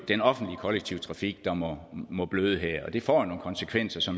den offentlige kollektive trafik der må må bløde her og det får nogle konsekvenser